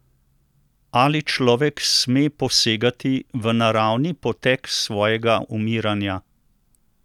Ali človek sme posegati v naravni potek svojega umiranja?